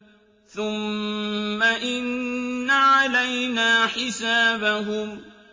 ثُمَّ إِنَّ عَلَيْنَا حِسَابَهُم